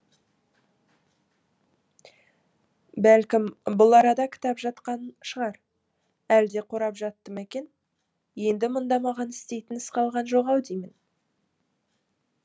бәлкім бүл арада кітап жатқан шығар әлде қорап жатты ма екен енді мұнда маған істейтін іс қалған жоқ ау деймін